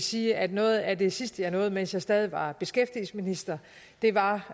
sige at noget af det sidste jeg nåede mens jeg stadig var beskæftigelsesminister var